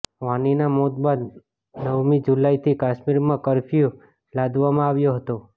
વાનીના મોત બાદ નવમી જુલાઈથી કશ્મીરમાં કર્ફ્યૂ લાદવામાં આવ્યો હતો